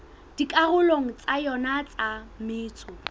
dikarolong tsa yona tsa metso